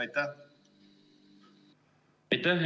Aitäh!